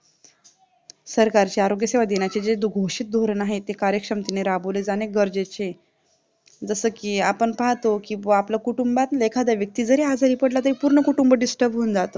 सरकारचे आरोग्य सेवा देण्याचे जे घोषित धोरण आहे ते कार्यक्षमतेने राबवले जाणे गरजेचे आहे जसेकी आपण पाहतो कि आपलं कुटूंबातला एखादा व्यक्ती जरी आजारी पडला तरी पूर्ण कुटुंब Disturb होऊन जात